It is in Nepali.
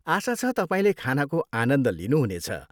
आशा छ, तपाईँले खानाको आनन्द लिनुहुनेछ।